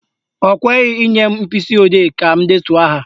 Ọ kweghị inye m mkpịsịodee ka m detuo aha ya.